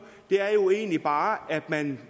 er jo egentlig bare at man